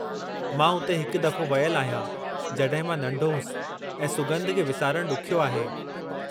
मां उते हिकु दफ़ो वयलु आहियां जड॒हिं मां नंढो होसि ऐं सुॻंधु खे विसारणु ॾुख्यो आहे।